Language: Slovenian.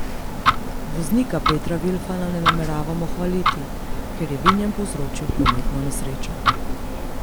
Voznika Petra Vilfana ne nameravamo hvaliti, ker je vinjen povzročil prometno nesrečo.